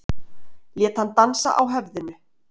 Lét hann dansa á höfðinu.